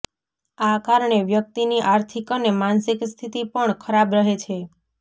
આ કારણે વ્યક્તિની આર્થિક અને માનસિક સ્થિતી પણ ખરાબ રહે છે